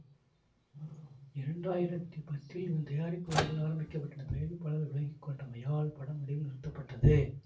இரண்டாயிரத்தி பத்தில் இதன் தயாரிப்பு வேலைகள் ஆரம்பிக்கப்பட்டன தயாரிப்பாளர் விலகிக்கொண்டமையால் படம் நடுவில் நிறுத்தப்பட்டது